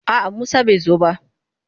A'a Musa bai zo ba.